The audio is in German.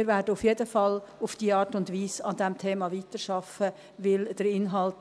Wir werden auf jeden Fall auf diese Art und Weise an diesem Thema weiterarbeiten, weil der Inhalt